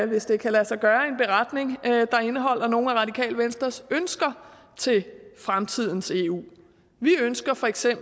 hvis det kan lade sig gøre i indeholder nogle af radikale venstres ønsker til fremtidens eu vi ønsker feks at